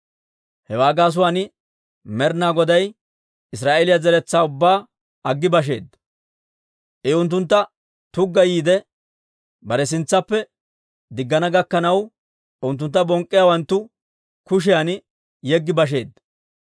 Hewaa gaasuwaan Med'ina Goday Israa'eeliyaa zeretsaa ubbaa aggi basheedda. I unttunttu tuggayiide, bare sintsaappe diggana gakkanaw, unttuntta bonk'k'iyaawanttu kushiyan yeggi basheedda.